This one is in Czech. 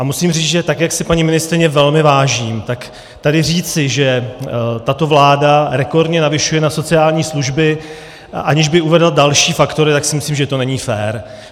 A musím říct, že tak jak si paní ministryně velmi vážím, tak tady říci, že tato vláda rekordně navyšuje na sociální služby, aniž by uvedla další faktory, tak si myslím, že to není fér.